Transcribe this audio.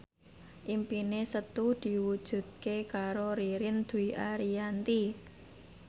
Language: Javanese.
impine Setu diwujudke karo Ririn Dwi Ariyanti